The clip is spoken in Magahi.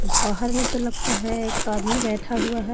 बाहर में तो लगता है एक आदमी बैठा हुआ है।